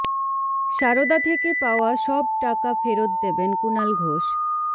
সারদা থেকে পাওয়া সব টাকা ফেরত দেবেন কুণাল ঘোষ